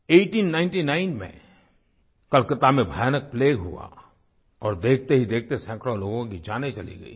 1899 में कलकत्ता में भयानक प्लेग हुआ और देखतेहीदेखते सैकड़ों लोगों की जानें चली गईं